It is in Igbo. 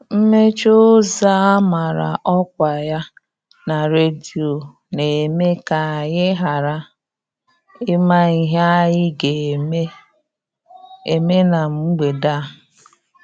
Mmechi ụzọ a mara ọkwa ya na redio na-eme ka anyị ghara ịma ihe anyị ga-eme eme na mgbede a.